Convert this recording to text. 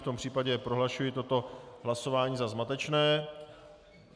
V tom případě prohlašuji toto hlasování za zmatečné.